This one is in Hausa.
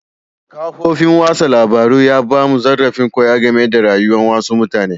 Kafofin wasan labaru ya ba mu zarrafin koya game da rayuwa'n wasu mutane.